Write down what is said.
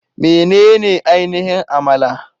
Menene ainihin Amala?